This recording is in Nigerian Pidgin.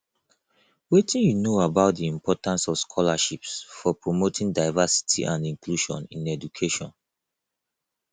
wetin you know about di importance of scholarships for promoting diversity and inclusion in education